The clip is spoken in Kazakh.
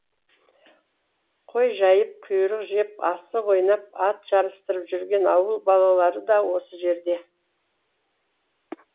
қой жайып құйрық жеп асық ойнап ат жарыстырып жүрген ауыл балалары да осы жерде